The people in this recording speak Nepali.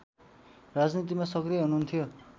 राजनीतिमा सक्रिय हुनुहुन्थ्यो